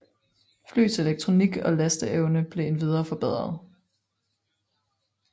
Flyets elektronik og lasteevne blev endvidere forbedret